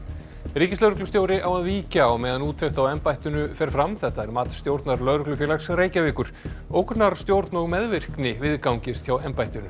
ríkislögreglustjóri á að víkja á meðan úttekt á embættinu fer fram þetta er mat stjórnar Lögreglufélags Reykjavíkur ógnarstjórn og meðvirkni viðgangist hjá embættinu